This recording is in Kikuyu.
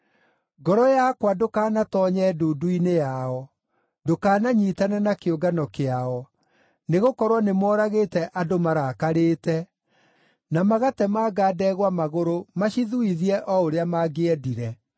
Ngoro yakwa ndũkanatoonye ndundu-inĩ yao, ndũkananyiitane na kĩũngano kĩao, nĩgũkorwo nĩmooragĩte andũ marakarĩte, na magatemanga ndegwa magũrũ macithuithie o ũrĩa mangĩendire.